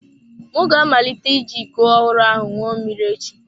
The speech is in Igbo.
M ga-amalite iji iko ọhụrụ ahụ ṅụọ mmiri echi.